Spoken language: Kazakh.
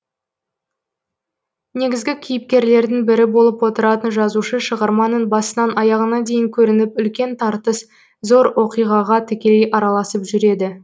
негізгі кейіпкерлердің бірі болып отыратын жазушы шығарманың басынан аяғына дейін көрініп үлкен тартыс зор оқиғаға тікелей араласып жүреді